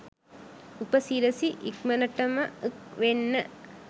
උපසිරසි ඉක්මනටම ක් වෙන්න